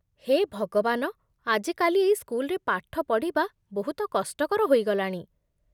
ହେ ଭଗବାନ, ଆଜିକାଲି ଏଇ ସ୍କୁଲରେ ପାଠ ପଢ଼ିବା ବହୁତ କଷ୍ଟକର ହୋଇଗଲାଣି।